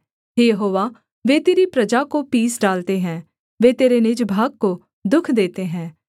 हे Jehovah वे तेरी प्रजा को पीस डालते हैं वे तेरे निज भाग को दुःख देते हैं